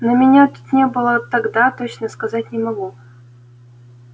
но меня тут не было тогда точно сказать не могу